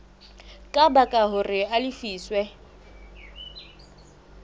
ka baka hore a lefiswe